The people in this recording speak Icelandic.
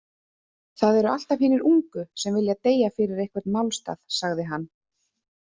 Það eru alltaf hinir ungu sem vilja deyja fyrir einhvern málstað, sagði hann.